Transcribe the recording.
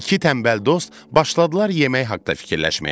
İki tənbəl dost başladılar yemək haqda fikirləşməyə.